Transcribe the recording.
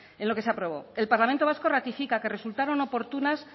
en lo que se aprobó el parlamento vasco ratifica que resultaron oportunas